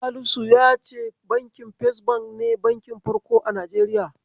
Salisu yace Bankin First Bank ne bakin Farko a Najeriya.